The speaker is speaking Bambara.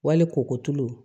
Wali koko tulu